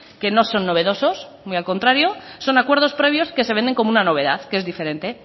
que no son novedosos muy al contrario son acuerdos previos que se venden como una novedad que es diferente